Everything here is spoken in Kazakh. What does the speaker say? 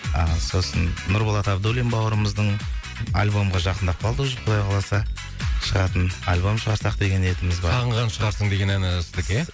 ыыы сосын нұрболат абдуллин бауырымыздың альбомға жақындап қалды уже құдай қаласа шығатын альбом шығарсақ деген ниетіміз бар сағынған шығарсың деген әні сіздікі ия